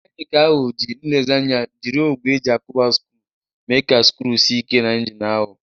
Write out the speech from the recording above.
Mekaniki ahụ ji nlezianya jiri ogwe eji akuba sckru mee ka sckru sie Ike na injin ahụ.